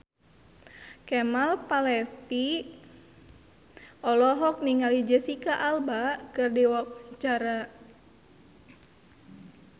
Kemal Palevi olohok ningali Jesicca Alba keur diwawancara